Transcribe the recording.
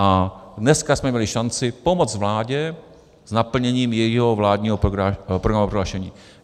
A dneska jsme měli šanci pomoct vládě s naplněním jejího vládního programového prohlášení.